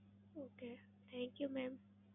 Okay thank you mam!